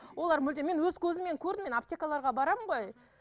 олар мүлде мен өз көзіммен көрдім мен аптекаларға барамын ғой